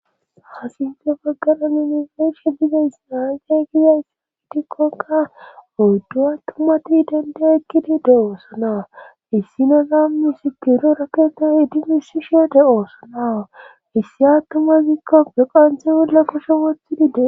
ha sinthe baggara nun beyishe dizatsika aze giikon aeqe gizays gitikkonka oyddu7a tumati idende ekkidi de oosonawa hissinoza misikiro raketo idimisi she de oosonawa hissi attumazikka pe qanthe wolla koshe wothidide